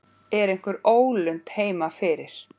Er einhver ólund heima fyrir?